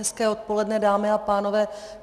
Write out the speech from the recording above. Hezké odpoledne, dámy a pánové.